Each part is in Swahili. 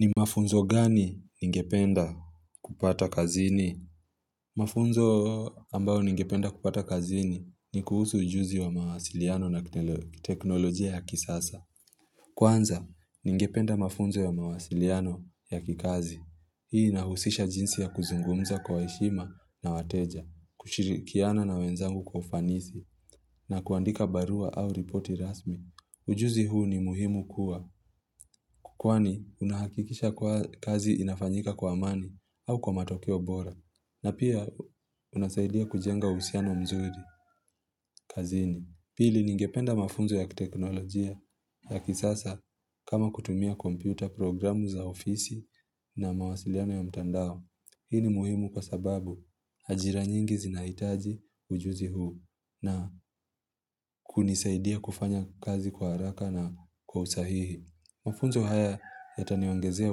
Ni mafunzo gani ningependa kupata kazini? Mafunzo ambayo ningependa kupata kazini ni kuhusu ujuzi wa mawasiliano na teknolojia ya kisasa. Kwanza, ningependa mafunzo wa mawasiliano ya kikazi. Hii inahusisha jinsi ya kuzungumza kwa heshima na wateja, kushirikiana na wenzangu kwa ufanisi, na kuandika barua au ripoti rasmi. Ujuzi huu ni muhimu kuwa kwani unahakikisha kuwa kazi inafanyika kwa amani au kwa matokeo bora. Na pia unasaidia kujenga uhusiano mzuri kazini. Pili ningependa mafunzo ya teknolojia ya kisasa kama kutumia kompyuta, programu za ofisi na mawasiliano ya mtandao. Hi ni muhimu kwa sababu ajira nyingi zinahitaji ujuzi huu na kunisaidia kufanya kazi kwa haraka na kwa usahihi. Mafunzo haya yataniongezea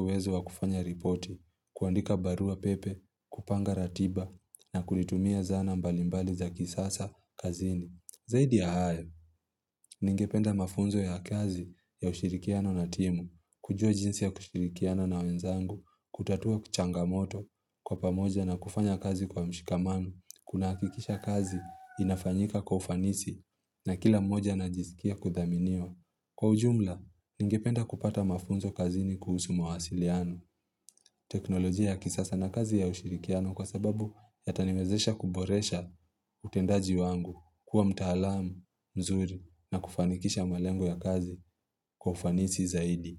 uwezo wa kufanya ripoti, kuandika baruapepe, kupanga ratiba na kulitumia zana mbalimbali za kisasa kazini. Zaidi ya hayo, ningependa mafunzo ya kazi ya ushirikiano na timu, kujua jinsi ya kushirikiana na wenzangu, kutatua changamoto, kwa pamoja na kufanya kazi kwa mshikamano, kunahakikisha kazi inafanyika kwa ufanisi na kila moja anajisikia kudhaminiwa. Kwa ujumla, ningependa kupata mafunzo kazini kuhusu mawasiliano, teknolojia ya kisasa na kazi ya ushirikiano kwa sababu yataniwezesha kuboresha utendaji wangu, kuwa mtaalamu, mzuri na kufanikisha malengo ya kazi kwa ufanisi zaidi.